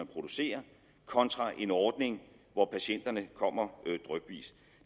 producere kontra en ordning hvor patienterne kommer drypvis